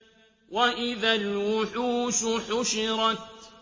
وَإِذَا الْوُحُوشُ حُشِرَتْ